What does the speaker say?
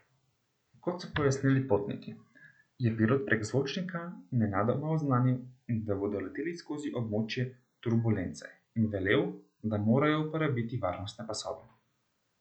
Kot so pojasnili potniki, je pilot prek zvočnika nenadoma oznanil, da bodo leteli skozi območje turbulence, in velel, da morajo uporabiti varnostne pasove.